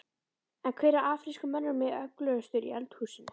En hver af afrísku mönnunum er öflugastur í eldhúsinu?